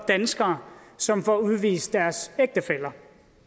danskere som får udvist deres ægtefæller